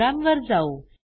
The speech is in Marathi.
प्रोग्रॅमवर जाऊ